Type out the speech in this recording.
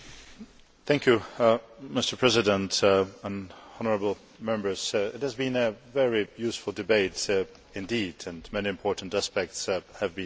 Mr President, honourable Members, it has been a very useful debate indeed and many important aspects have been mentioned.